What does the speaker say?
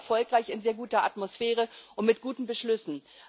Es war sehr erfolgreich, in sehr guter Atmosphäre und mit guten Beschlüssen.